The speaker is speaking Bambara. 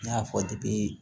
N y'a fɔ